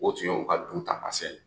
O tun ye u ka dunta